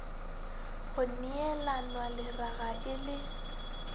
go neelanwa leraga e le